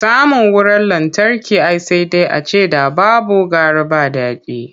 Samun wurar lantarki ai sai dai a ce ‘da babu gara ba dadi.